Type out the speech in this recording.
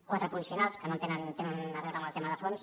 quatre apunts finals que tenen a veure amb el tema de fons